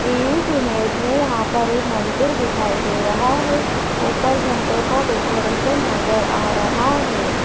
इस इमेज में यहां पर एक मंदिर दिखाई दे रहा है ऊपर झंडों का डेकोरेशन नजर आ रहा है।